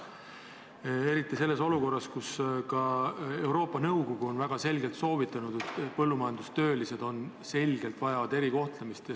Ka Euroopa Nõukogu on praeguses olukorras väga selgelt soovitanud, et põllumajandustöölised vajavad erikohtlemist.